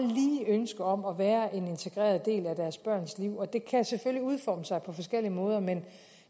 ønske om at være en integreret del af deres børns liv og det kan selvfølgelig udforme sig på forskellige måder men